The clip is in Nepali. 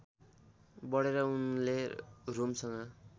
बढेर उनले रोमसँग